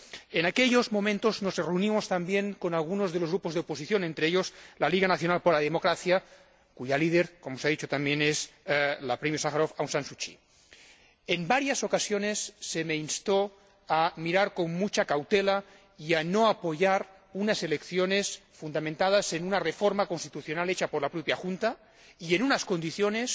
En aquellos momentos nos reunimos también con algunos de los grupos de oposición, entre ellos, la Liga Nacional para la Democracia, cuya líder, como se ha dicho también, es la Premio Sájarov Aung San Suu Kyi. En varias ocasiones se me instó a mirar con mucha cautela y a no apoyar unas elecciones fundamentadas en una reforma constitucional hecha por la propia Junta y en unas condiciones,